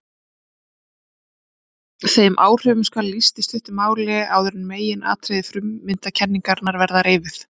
Þeim áhrifum skal lýst í stuttu máli áður en meginatriði frummyndakenningarinnar verða reifuð.